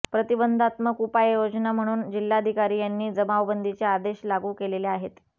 प्रतिबंधात्मक उपाययोजना म्हणून जिल्हाधिकारी यांनी जमावबंदीचे आदेश लागू केलेले आहेत